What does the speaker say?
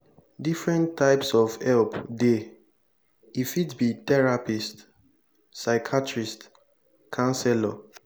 different types of help dey e fit be therapist psychiathrist councelor